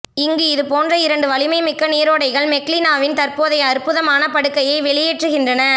இங்கு இதுபோன்ற இரண்டு வலிமைமிக்க நீரோடைகள் மெக்னாவின் தற்போதைய அற்புதமான படுகையை வெளியேற்றுகின்றன